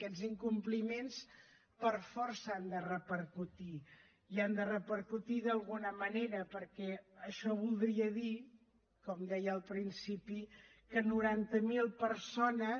aquests incompliments per força han de repercutir i han de repercutir d’alguna manera perquè això voldria dir com deia al principi que noranta mil persones